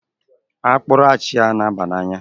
Akpụrụ achia na-aba n'anya